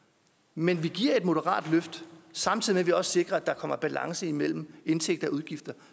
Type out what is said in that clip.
men vi giver et moderat løft samtidig med at vi også sikrer at der kommer balance mellem indtægter og udgifter